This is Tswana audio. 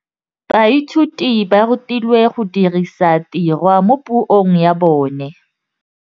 Baithuti ba rutilwe go dirisa tirwa mo puong ya bone.